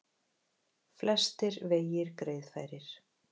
Flestir vegir greiðfærir